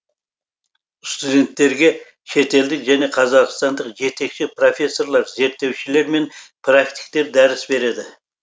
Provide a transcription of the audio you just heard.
студенттерге шетелдік және қазақстандық жетекші профессорлар зерттеушілер мен практиктер дәріс береді